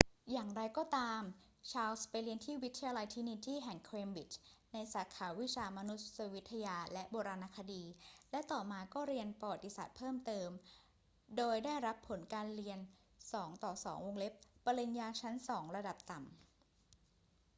อย่างไรก็ตาม ชาร์ลส์ไปเรียนที่วิทยาลัยตรินิตี้แห่งเคมบริดจ์ในสาขาวิชามานุษยวิทยาและโบราณคดี และต่อมาก็เรียนประวัติศาสตร์เพิ่มเติม โดยได้รับผลการเรียน 2:2 ปริญญาชั้นสองระดับต่ำ